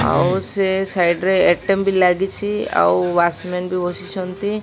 ଆଉ ସେ ସାଇଡି ରେ ଏ ଟେମ୍ ଲାଗିଛି ଆଉ ୱାଚମ୍ୟାନ ବି ବସିଛନ୍ତି।